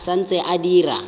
e sa ntse e dira